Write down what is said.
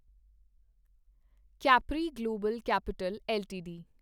capri global capital LTD